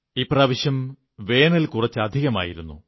ഇപ്രാവശ്യം വേനൽ കുറച്ചധികമായിരുന്നു